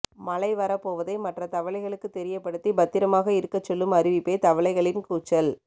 மழை வரப்போவதை மற்ற தவளைகளுக்கு தெரியப்படுத்தி பத்திரமாக இருக்க சொல்லும் அறிவிப்பே தவளைகளின் கூச்சல்